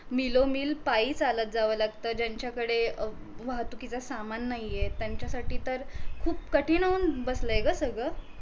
पाई चालत जाव लागत ज्यांच्याकडे अं वाहतुकीच सामान नाहीये त्यांच्यासाठी तर खूप कठीण होऊन बसलय ग सगळं